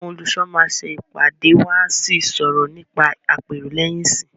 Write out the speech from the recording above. Àwọn olùṣọ́ máa ṣẹ ìpàdé wọ́n à sí sọ̀rọ̀ nípa àpérò lẹ́yìn ìsìn.